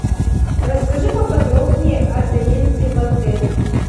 расскажи поподробнее о заезде в отель